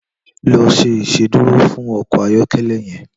Lò ṣé Ìṣédùró fún ọkọ ayọkẹlẹ yèn